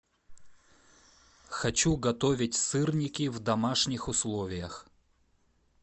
хочу готовить сырники в домашних условиях